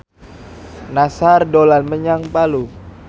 Nassar dolan menyang Palu